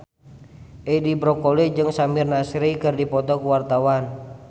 Edi Brokoli jeung Samir Nasri keur dipoto ku wartawan